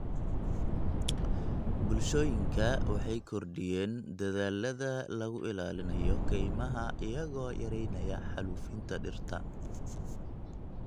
Bulshooyinka waxay kordhiyeen dadaallada lagu ilaalinayo kaymaha iyagoo yareynaya xaalufinta dhirta.